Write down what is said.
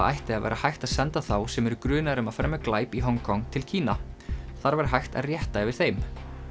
ætti að vera hægt að senda þá sem eru grunaðir um að fremja glæp í Hong Kong til Kína þar væri hægt að rétta yfir þeim